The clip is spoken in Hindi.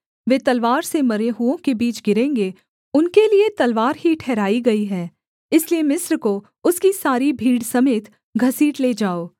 वे तलवार से मरे हुओं के बीच गिरेंगे उनके लिये तलवार ही ठहराई गई है इसलिए मिस्र को उसकी सारी भीड़ समेत घसीट ले जाओ